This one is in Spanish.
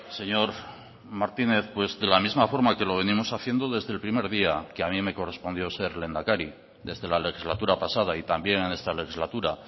señor martínez pues de la misma forma que lo venimos haciendo desde el primer día que a mí me correspondió ser lehendakari desde la legislatura pasada y también en esta legislatura